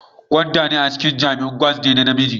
Gwanda a cikin Jamiu gwads ne na namiji